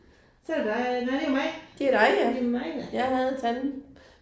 Så er det dig, nej det er mig. Det er mig ja